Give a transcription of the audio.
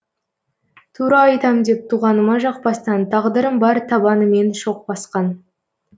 тура айтам деп туғаныма жақпастан тағдырым бар табанымен шоқ басқан